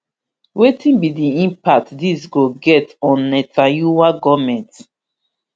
wetin be di impact dis go get on netanyahu goment